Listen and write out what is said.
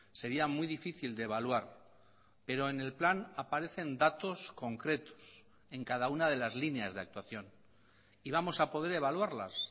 sería muy difícil de evaluar pero en el plan aparecen datos concretos en cada una de las líneas de actuación y vamos a poder evaluarlas